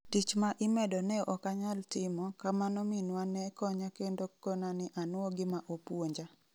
Tich ma imedo ne okanyal timo kamano minwa ne konya kendo konani anuo gima opuonja.